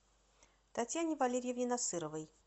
татьяне валерьевне насыровой